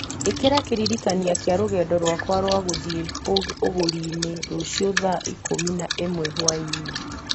ĩkĩra kĩririkania kĩa rũgendo rwakwa rwa gũthiĩ ũgũri-inĩ rũciũ thaa ikũmi na ĩmwe hwaĩ-inĩ